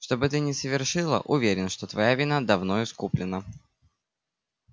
что бы ты ни совершила уверен что твоя вина давно искуплена